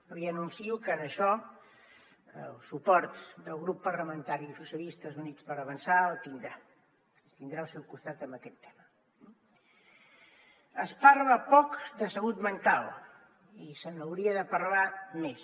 li anuncio que en això el suport del grup parlamentari socialistes i units per avançar el tindrà ens tindrà el seu costat en aquest tema eh es parla poc de salut mental i se n’hauria de parlar més